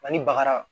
Ani baga